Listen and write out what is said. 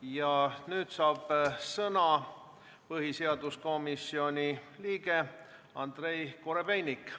Ja nüüd saab sõna põhiseaduskomisjoni liige Andrei Korobeinik.